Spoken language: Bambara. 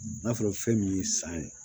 N'a fɔra fɛn min ye san ye